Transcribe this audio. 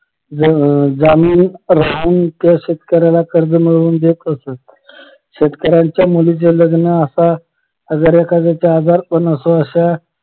ज जामीन राहून त्या शेतकऱ्याला कर्ज मिळवून देत असत शेतकऱ्यांच्या मुलीचे लग्न असा अगर एखाद्याच्या आजारपण असो अश्या